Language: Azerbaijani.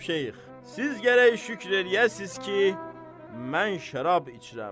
Cənab Şeyx, siz gərək şükür eləyəsiz ki, mən şərab içirəm.